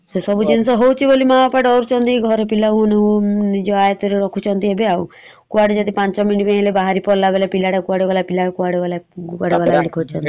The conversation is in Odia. ସେ ସବୁ ଜିନିଷ ହଉଚି ବୋଲି ମା ବାପା ଡରୁଛନ୍ତି ଘରେ ପିଲା ମାନଙ୍କୁ ନିଜ ଆୟତ ରେ ରଖୁଛନ୍ତି ଏବେ ଆଉ କୁଆଡେ ଯଦି ପାଞ୍ଚ minute ହେଇଗଲା ବାହାରି ପଳେଇଲା ବୋଲେ ପିଲାଟା କୁଆଡେ ଗଲା ପିଲା କୁଆଡେ ଗଲା ବୋଲି ଖୋଜୁଛନ୍ତି ।